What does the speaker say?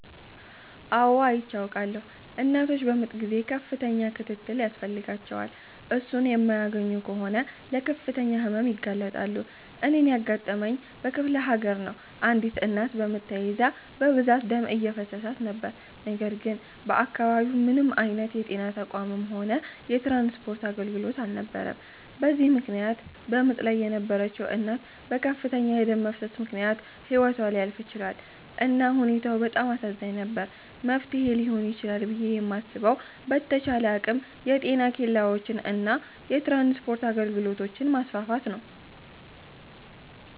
አው አይቼ አዉቃለሁ። እናቶች በምጥ ጊዜ ከፍተኛ ክትትል ያስፈልጋቸዋል። እሱን የማያገኙ ከሆነ ለከፍተኛ ህመም ይጋለጣሉ። እኔን ያጋጠመኝ በክፍለሀገር ነው አንዲት እናት በምጥ ተይዛ በብዛት ደም እየፈሰሳት ነበር ነገር ግን በአከባቢው ምንም አይነት የጤና ተቋምም ሆነ የትራንስፖርት አገልግሎት አልነበረም በዚህም ምክነያት በምጥ ላይ የነበረችዉ እናት በከፍተኛ የደም መፍሰስ ምክነያት ህይወቷ ሊያልፍ ችሏል። እና ሁኔታው በጣም አሳዛኝ ነበር። መፍትሔ ሊሆን ይችላል ብየ የማስበዉ በተቻለ አቅም የጤና ኬላወችን እና የትራንስፖርት አገልግሎቶችን ማስፋፋት ነዉ።